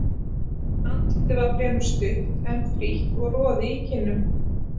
Andlitið var fremur stutt, en frítt og roði í kinnum.